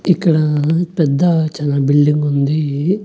ఇక్కడ పెద్ద చానా బిల్డింగ్ ఉంది.